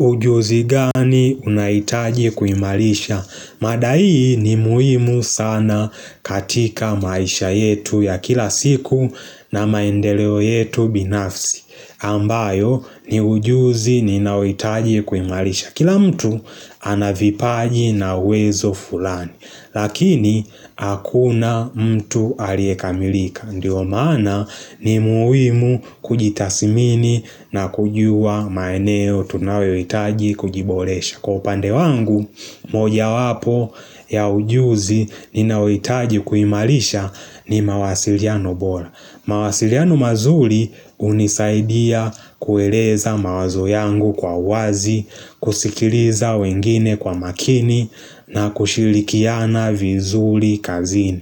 Ujuzi gani unahitaji kuimalisha? Mada hii ni muhimu sana katika maisha yetu ya kila siku na maendeleo yetu binafsi. Ambayo ni ujuzi ninaohitaji kuimalisha. Kila mtu anavipaji na uwezo fulani. Lakini hakuna mtu aliyekamilika. Ndiyo maana ni muhimu kujitasimini na kujua maeneo tunawewitaji kujibolesha Kwa upande wangu moja wapo ya ujuzi ninaohitaji kuimalisha ni mawasiliano bora mawasiliano mazuri hunisaidia kueleza mawazo yangu kwa wazi kusikiliza wengine kwa makini na kushilikiana vizuri kazini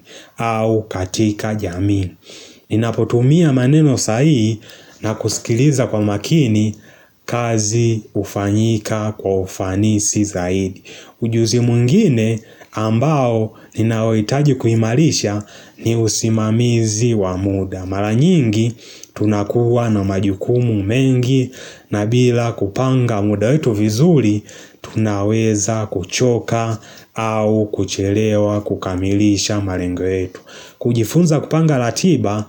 uu katika jamii Ninapotumia maneno sahii na kusikiliza kwa makini kazi hufanyika kwa ufanisi zaidi Ujuzi mwngine ambao ninaohitaji kuimalisha ni usimamizi wa mda Mara nyingi tunakuwa na majukumu mengi na bila kupanga muda wetu vizuri Tunaweza kuchoka au kuchelewa kukamilisha malengo yetu kujifunza kupanga ratiba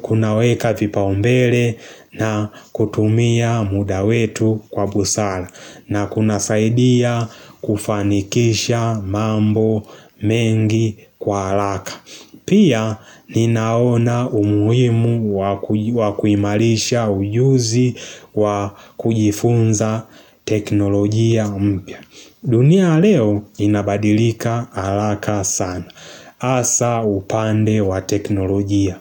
kunaweka vipaumbele na kutumia muda wetu kwa busara na kunasaidia kufanikisha mambo mengi kwa haraka Pia ninaona umuhimu wa kuimalisha ujuzi wa kujifunza teknolojia mpia. Dunia leo inabadilika haraka sana. Asa upande wa teknolojia.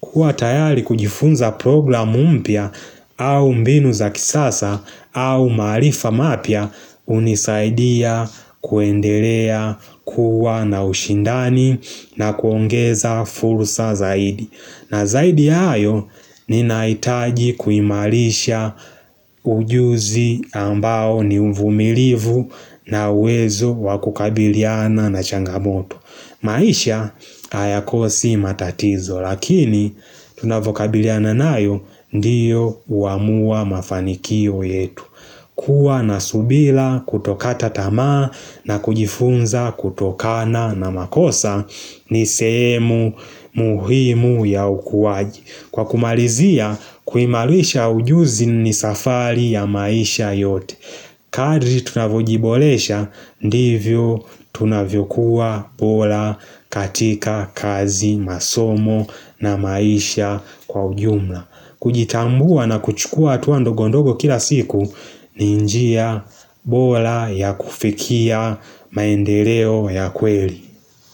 Huwa tayari kujifunza program mpya au mbinu za kisasa au maarifa mapya hunisaidia kuendelea kuwa na ushindani na kuongeza fursa zaidi. Na zaidi ya hayo ninahitaji kuimarasha ujuzi ambao nu i kuimalisha ujuzi ambao ni umvumilivu na uwezo wakukabiliana na changamoto. Maisha hayakosi matatizo lakini tunavokabiliana nayo ndiyo uamua mafanikio yetu kuwa na subira kutokata tamaa na kujifunza kutokana na makosa ni sehemu muhimu ya ukuwaji Kwa kumalizia kuimalisha ujuzi ni safari ya maisha yote Kadri tunavunyojiboresha ndivyo tunavyokuwa bora katika kazi masomo na maisha kwa ujumla kujitambua na kuchukua hatua ndogondogo kila siku ni njia bora ya kufikia maendeleo ya kweli.